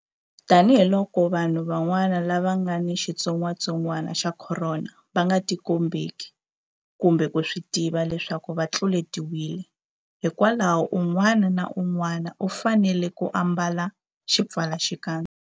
Tanihiloko vanhu van'wana lava nga ni xitsongwantsongwana xa Khorona va nga tikombeki kumbe ku swi tiva leswaku va tluletiwile, hikwalaho un'wana na un'wana u fanele ku ambala xipfalaxikandza.